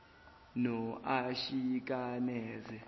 noashikaneze